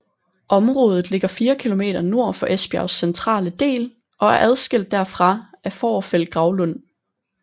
Området ligger fire kilometer nord for Esbjergs centrale del og er adskilt derfra af Fovrfeld Gravlund